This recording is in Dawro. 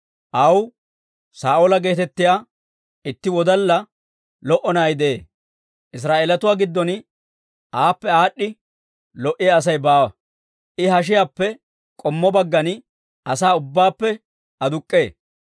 Aw Saa'oola geetettiyaa itti wodalla lo"o na'ay de'ee; Israa'eelatuwaa giddon aappe aad'd'i lo"iyaa Asay baawa; I hashiyaappe k'ommo baggan asaa ubbaappe aduk'k'ee.